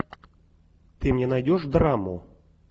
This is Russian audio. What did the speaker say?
ты мне найдешь драму